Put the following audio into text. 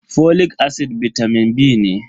folic acid bitamin B ne.